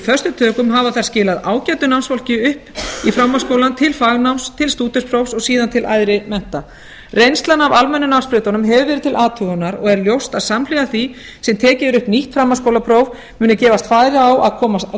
föstum tökum hafa þær skilað ágætu námsfólki upp í framhaldsskólann til fagnáms til stúdentsprófs og síðan til æðri mennta reynslan af almennu námsbrautunum hefur verið til athugunar og er ljóst að samhliða því sem tekið er upp nýtt framhaldsskólapróf muni gefast færi á að